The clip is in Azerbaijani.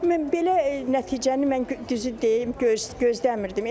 Mən belə nəticəni mən düzü deyim, gözləmirdim.